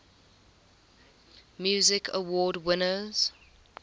music awards winners